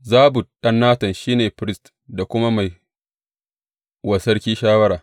Zabud ɗan Natan, shi ne firist da kuma mai wa sarki shawara.